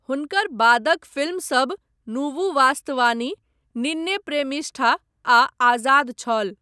हुनकर बादक फिल्मसभ 'नुवु वास्तवानी', 'निन्ने प्रेमिष्ठा' आ 'आजाद' छल।